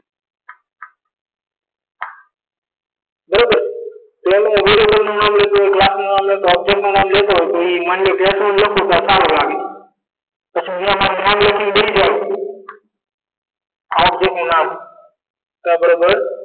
બરોબર છે ક્લાસનું નામ લેશો object નું નામ લેશો પછી આવજે નું નામ આ object નું નામ કા બરાબર